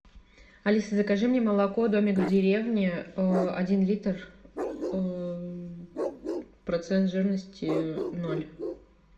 алиса закажи мне молоко домик в деревне один литр процент жирности ноль